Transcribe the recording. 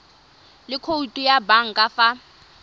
le khoutu ya banka fa